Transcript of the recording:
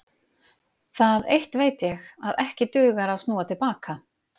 Það eitt veit ég, að ekki dugar að snúa til baka.